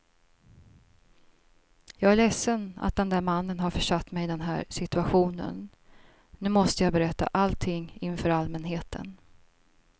Jag är ledsen att den där mannen har försatt mig i den här situationen, nu måste jag berätta allting inför allmänheten.